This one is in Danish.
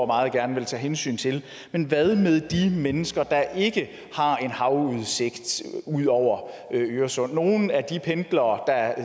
meget gerne vil tage hensyn til men hvad med de mennesker der ikke har en havudsigt over øresund nogle af de pendlere der